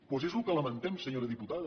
doncs és el que lamentem senyora diputada